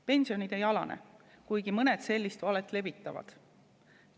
Pensionid ei alane, kuigi mõned sellist valet levitavad.